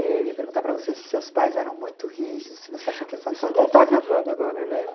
Eh eu ia perguntar para você se seus pais eram muito rígidos, se você acha que Não está gravando agora, né?